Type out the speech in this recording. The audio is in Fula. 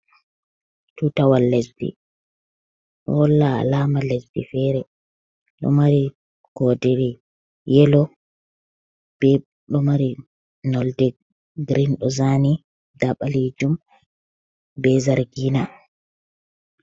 Tutawal lesdi: Do holla alama lesdi fere. do mari kodere yellow, be do mari nolde green do zani, nda balijum be zargina.